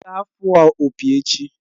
Ị ga-afụ opi echi!